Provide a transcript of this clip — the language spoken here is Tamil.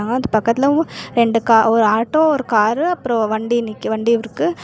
ஆத் பக்கத்துலவு ரெண்டு கா ஒரு ஆட்டோ ஒரு காரு அப்றோ வண்டி நிக்கு வண்டி இருக்கு.